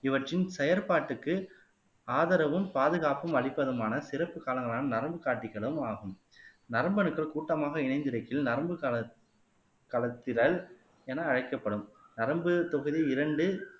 இவற்றின் செயற்பாட்டுக்கு ஆதரவும் பாதுகாப்போம் அளிப்பதுமான சிறப்பு காலங்களான நரம்பு காட்டிகளும் ஆகும் நரம்பு அணுக்கள் கூட்டமாக இணைந்திருக்கில் நரம்பு களத் களத்திரல் என அழைக்கப்படும் நரம்புத் தொகுதி இரண்டு